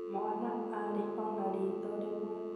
Mwana arĩ o,na ritho rĩmwe